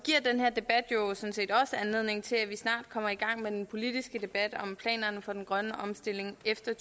også anledning til at vi snart kommer i gang med den politiske debat om planerne for den grønne omstilling efter